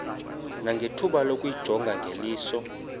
nangethuba lokuyijonga ngeliso